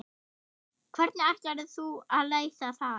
Hvernig ætlarðu að leysa það?